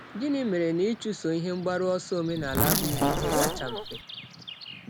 Gịnị mere na ịchụso ihe mgbaru ọsọ omenala abụghị ihe kacha mfe?